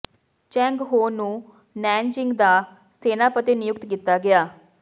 Cheng Ho ਨੂੰ Nanjing ਦਾ ਸੈਨਾਪਤੀ ਨਿਯੁਕਤ ਕੀਤਾ ਗਿਆ